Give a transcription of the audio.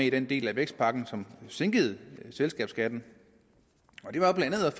i den del af vækstpakken som sænkede selskabsskatten